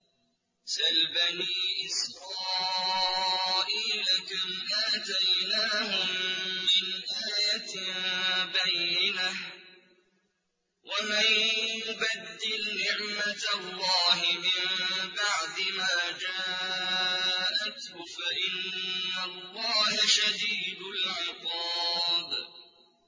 سَلْ بَنِي إِسْرَائِيلَ كَمْ آتَيْنَاهُم مِّنْ آيَةٍ بَيِّنَةٍ ۗ وَمَن يُبَدِّلْ نِعْمَةَ اللَّهِ مِن بَعْدِ مَا جَاءَتْهُ فَإِنَّ اللَّهَ شَدِيدُ الْعِقَابِ